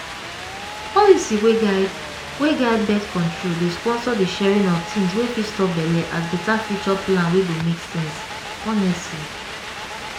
policy wey guide wey guide birth-control dey sponsor the sharing of things wey fit stop belle as better future plan wey go make sense honestly